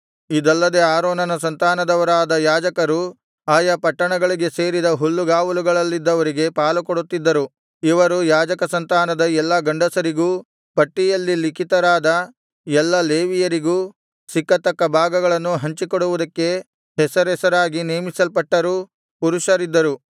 ಇದಲ್ಲದೆ ಆರೋನನ ಸಂತಾನದವರಾದ ಯಾಜಕರು ಆಯಾ ಪಟ್ಟಣಗಳಿಗೆ ಸೇರಿದ ಹುಲ್ಲುಗಾವಲುಗಳಲ್ಲಿದ್ದವರಿಗೆ ಪಾಲುಕೊಡುತ್ತಿದ್ದರು ಇವರು ಯಾಜಕ ಸಂತಾನದ ಎಲ್ಲಾ ಗಂಡಸರಿಗೂ ಪಟ್ಟಿಯಲ್ಲಿ ಲಿಖಿತರಾದ ಎಲ್ಲಾ ಲೇವಿಯರಿಗೂ ಸಿಕ್ಕತಕ್ಕ ಭಾಗಗಳನ್ನು ಹಂಚಿಕೊಡುವುದಕ್ಕೆ ಹೆಸರೆಸರಾಗಿ ನೇಮಿಸಲ್ಪಟ್ಟರೂ ಪುರುಷರಿದ್ದರು